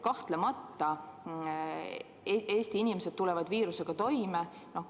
Kahtlemata, Eesti inimesed tulevad viirusega toime.